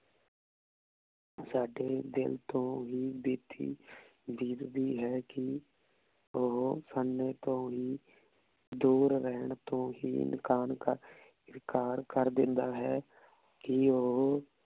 ਸਾਡੇ ਦਿਲ ਤੋਂ ਵੀ ਬੀਤੀ ਦੀਦ ਦੀ ਹੈ ਕੀ ਓਹੋ ਸਾਡੇ ਤੋਂ ਹੀ ਦੂਰ ਰੇਹਾਨ ਤੋਂ ਕਰ ਦੇਂਦਾ ਹੈ ਕੀ ਓਹੋ